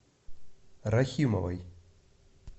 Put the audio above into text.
рахимовой